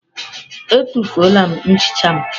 Etufuola m nchicha m.